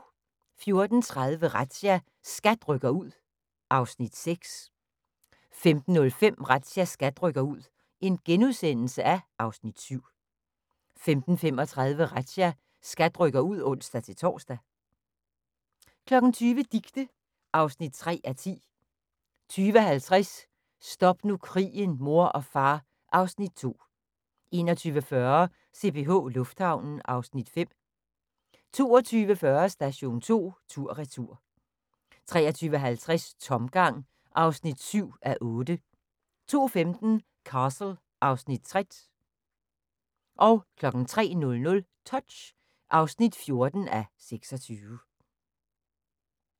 14:30: Razzia – SKAT rykker ud (Afs. 6) 15:05: Razzia – SKAT rykker ud (Afs. 7)* 15:35: Razzia – SKAT rykker ud (ons-tor) 20:00: Dicte (3:10) 20:50: Stop nu krigen, mor og far (Afs. 2) 21:40: CPH Lufthavnen (Afs. 5) 22:40: Station 2 tur/retur 23:50: Tomgang (7:8) 02:15: Castle (Afs. 60) 03:00: Touch (14:26)